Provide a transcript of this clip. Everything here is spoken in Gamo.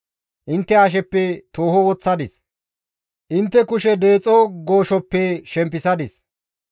«Intte hasheppe tooho woththadis; intte kushe deexo gooshoppe shempisadis.